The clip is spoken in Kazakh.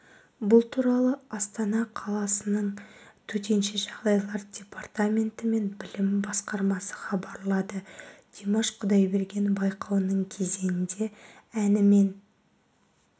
бұл туралы астана қаласының төтенше жағдайлар департаменті мен білім басқармасы хабарлады димаш құдайберген байқауының кезеңінде әнімен